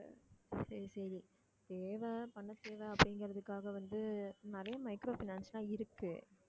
சரி சரி தேவை பண தேவை அப்படிங்கிறதுக்காக வந்து நிறைய micro finance லாம் இருக்கு